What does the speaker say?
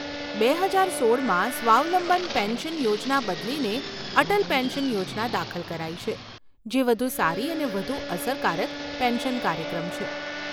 બે હજાર સોળમાં સ્વાવલંબન પેન્શન યોજના બદલીને અટલ પેન્શન યોજના દાખલ કરાઈ છે, જે વધુ સારી અને વધુ અસરકારક પેન્શન કાર્યક્રમ છે.